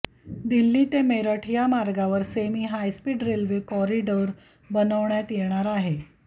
दिल्ली ते मेरठ या मार्गावर semi high speed railway corridor बनवण्यात येणार आहे